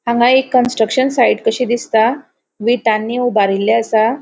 हांगा एक construction site कशी दिसता. विटांनी उबारील्ले आसा.